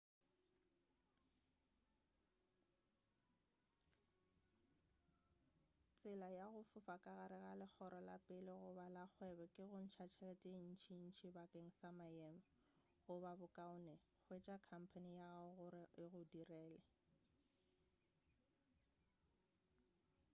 tsela ya go fofa ka gare ga legoro la pele goba la kgwebo ke go ntša tšhelete ye ntšintši bakeng sa maemo goba bokaone hwetša khampane ya gago gore e go direle